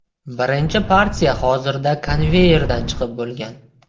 Birinchi partiya hozirda konveyerdan chiqib bo‘lgan.